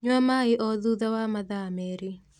Nyua maĩ o thutha wa mathaa merĩ